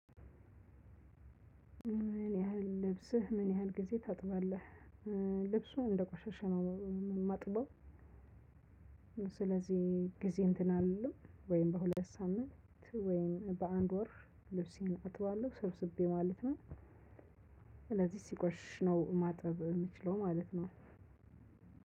ምን ያህል ልብስህ ምን ያህል ጊዜ ታጥባለህ? ልብሱን እንደቆሸሸ ነው የማጥበው። ስለዚህ ጊዜ እንትን አልልም ወይም በሁለት ሳምንት ወይም በአንድ ወር ልብሴን አጥባለሁ ሰብስቤ ማለት ነው። ስለዚህ ሲቆሽሽ ነው ማጠብ የምችለው ማለት ነው።